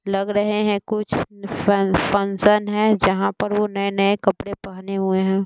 लग रहे हैं कुछ फन--फंक्शन है जहां पर वो नए-नए कपड़े पहने हुए हैं।